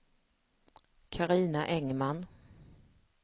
Carina Engman